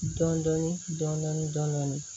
Dɔndɔni dɔndɔni dɔndɔni